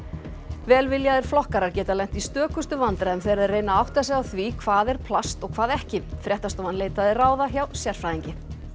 velviljaðir flokkarar geta lent í stökustu vandræðum þegar þeir reyna að átta sig á því hvað er plast og hvað ekki fréttastofan leitaði ráða hjá sérfræðingi